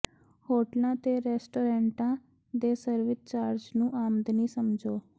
ਹੋਟਲਾਂ ਤੇ ਰੈਸਟੋਰੈਂਟਾਂ ਦੇ ਸਰਵਿਸ ਚਾਰਜ ਨੂੰ ਆਮਦਨੀ ਸਮਝੋ